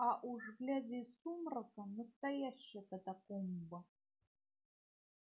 а уж глядя из сумрака настоящая катакомба